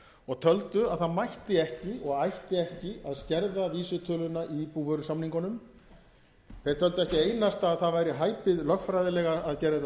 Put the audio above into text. og töldu að það mætti ekki og ætti ekki að skerða vísitöluna í búvörusamningunum þeir töldu ekki einasta að það væri hæpið lögfræðilega að gera þetta